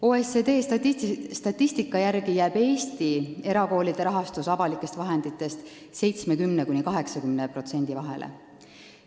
OECD statistika järgi jääb Eesti erakoolide rahastus avalikest vahenditest 70–80% vahele.